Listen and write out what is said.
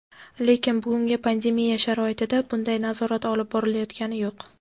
Lekin bugungi pandemiya sharoitida bunday nazorat olib borilayotgani yo‘q.